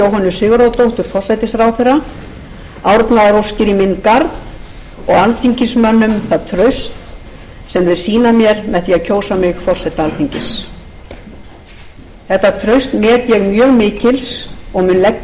sigurðardóttur forsætisráðherra árnaðaróskir í minn garð og alþingismönnum það traust sem þeir sýna mér með því að kjósa mig forseta alþingis þetta traust met ég mjög mikils og mun